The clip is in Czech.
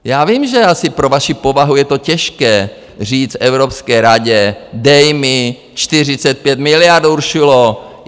Já vím, že asi pro vaši povahu je to těžké říct Evropské radě - dej mi 45 miliard Uršulo.